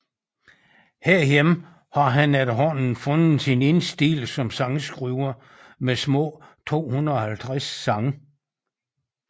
Herhjemme har han efterhånden fundet sin egen stil som sangskriver med små 250 sange